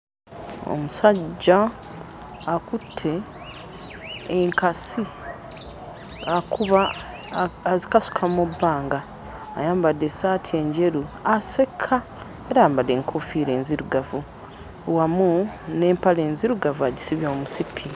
Omusajja akutte enkasi akuba a azikasuka mu bbanga ayambadde essaati enjeru aseka era ayambadde enkoofiira enzirugavu wamu n'empale enzirugavu agisibye omusipi.